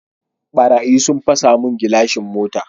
Ɓarayi sun fasa mun gilashin mota